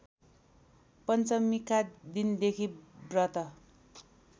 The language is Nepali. पञ्चमीका दिनदेखि व्रत